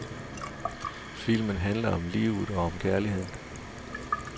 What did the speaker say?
Filmen handler om livet og om kærligheden.